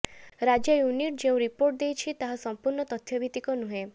ରାଜ୍ୟ ୟୁନିଟ ଯେଉଁ ରିପୋର୍ଟ ଦେଇଛି ତାହା ସମ୍ପୂର୍ଣ୍ଣ ତଥ୍ୟ ଭିତିକ ନୁହେଁ